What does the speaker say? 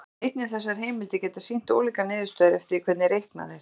En einnig þessar heimildir geta sýnt ólíkar niðurstöður eftir því hvernig reiknað er.